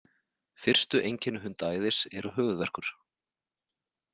Fyrstu einkenni hundaæðis eru höfuðverkur.